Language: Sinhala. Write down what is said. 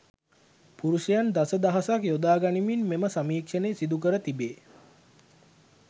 පුරුෂයන් දස දහසක් යොදා ගනිමින් මෙම සමීක්ෂණය සිදු කර තිබේ.